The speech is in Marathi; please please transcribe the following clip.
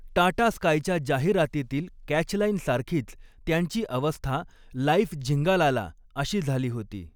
टाटा स्कायच्या जाहिरातीतील कॅचलाईनसारखीच त्यांची अवस्था लाईफ झिंगालाला अशी झाली होती.